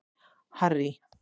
Harry